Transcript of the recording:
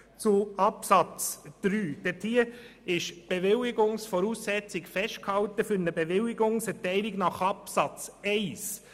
In Artikel 14 Absatz 3 ist die Bewilligungsvoraussetzung für eine Bewilligungserteilung nach Absatz 1 festgehalten.